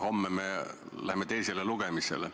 Homme me läheme teisele lugemisele.